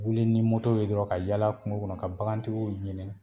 Wuli ni ye dɔrɔn ka yala kunko kɔnɔ ka bakantigiw ɲini.